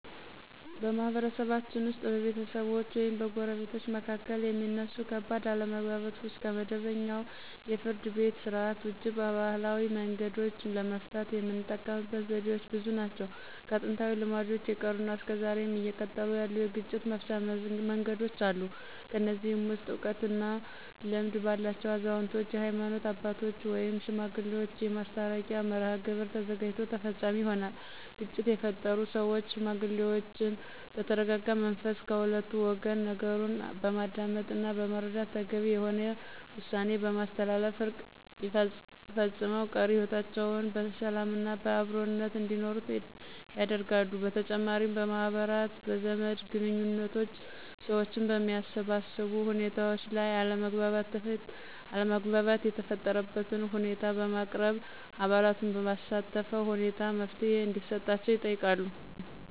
በማህበረሰባችን ውስጥ በቤተሰቦች ወይም በጎረቤቶች መካከል የሚነሱ ከባድ አለመግባባቶችን ከመደበኛው የፍርድ ቤት ሥርዓት ውጪ በባህላዊ መንገዶች ለመፍታት የምንጠቀምበት ዘዴዎች ብዙ ናቸው። ከጥንታዊ ልማዶች የቀሩና እስከ ዛሬም እየቀጠሉ ያሉ የግጭት መፍቻ መንገዶች አሉ። ከነዚህም ውስጥ እውቀት እና ልምድ ባላቸው አዛውንቶች፣ የሀይማኖት አባቶች ወይም ሽማግሌዎች የማስታረቂያ መርሐግብር ተዘጋጅቶ ተፈፃሚ ይሆናል። ግጭት የፈጠሩ ሰዎችን ሽማግሌዎች በተረጋጋ መንፈስ ከሁለቱ ወገን ነገሩን በማዳመጥና በመረዳት ተገቢ የሆነ ውሳኔ በማስተላለፍ እርቅ ፈፅመው ቀሪ ህይወታቸውን በሰላምና በአብሮነት እንዲኖሩ ያደርጋሉ። በተጨማሪም በማህበራት፣ በዘመድ ግንኙዎችና ሰዎችን በሚያሰባስቡ ሁኔታዎች ላይ አለመግባባት የተፈጠረበትን ሁኔታ በማቅረብ አባላቱን ባሳተፈ ሁኔታ መፍትሔ እንዲሰጣቸው ይጠይቃሉ።